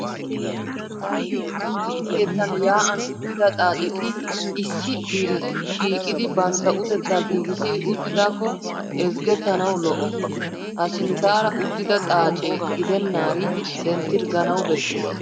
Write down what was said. Aaho keettan yaa'an uttida xaaceti issi diri shiiqidi bantta utettaa giigissidi uttidaakko ezggettanawu lo'o. Ha sinttaara uttida xaace gidennaari denttirgganawu bessees.